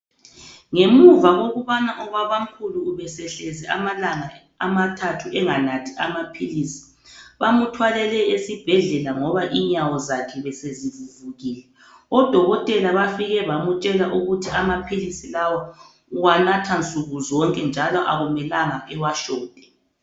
Ngemuva kokubana ubabamkhulu ubesehlezi amalanga amathathu enganathi amaphilisi .Bamthwalele esibhedlela ngoba inyawo zakhe besezivuvukile , odokotela bafike bamtshela ukuthi amaphilisi lawa uwanatha nsukuzonke njalo akumelanga awashote.